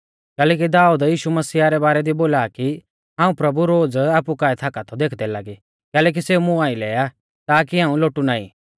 कैलैकि दाऊद यीशु मसीहा रै बारै दी बोला कि हाऊं प्रभु रोज़ आपु काऐ थाका थौ देखदै लागी कैलैकि सेऊ मुं आइलै आ ताकी हाऊं लोटु नाईं